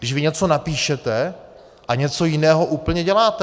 Když vy něco napíšete a něco jiného úplně děláte.